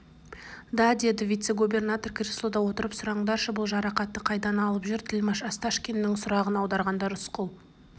да деді вице-губернатор креслода отырып сұраңдаршы бұл жарақатты қайдан алып жүр тілмаш осташкиннің сұрағын аударғанда рысқұл